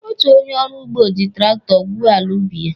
Otu onye ọrụ ugbo ji traktọ gwuo ala ubi ya.